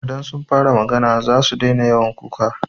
Idan sun fara magana zasu daina yawan kuka.